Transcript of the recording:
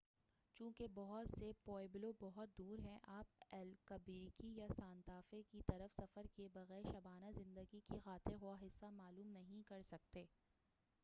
چونکہ بہت سے پوِئبلو بہت دور ہیں آپ البیکرکی یا سانتا فے کی طرف سفر کیے بغیر شبانہ زندگی کا خاطر خواہ حصہ معلوم نہیں کر سکتے